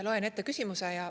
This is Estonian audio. Loen ette küsimuse ja …